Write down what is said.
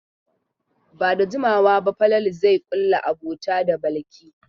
Ba da jimawa ba Falalu zai ƙulla abota da Balki.